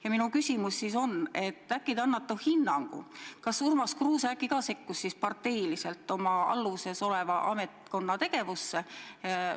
Ja minu küsimus on, et äkki te annate hinnangu, kas ka Urmas Kruuse ei sekkunud oma alluvuses oleva ametkonna tegevusse parteiliselt.